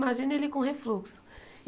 Imagina ele com refluxo.